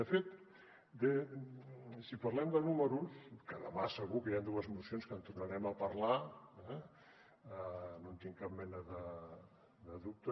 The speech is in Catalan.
de fet si parlem de números que demà segur que hi han dues mocions que en tornarem a parlar no en tinc cap mena de dubte